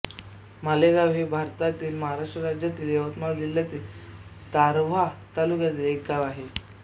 मालेगाव हे भारतातील महाराष्ट्र राज्यातील यवतमाळ जिल्ह्यातील दारव्हा तालुक्यातील एक गाव आहे